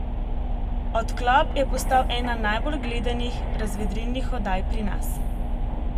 Odklop je postal ena najbolj gledanih razvedrilnih oddaj pri nas.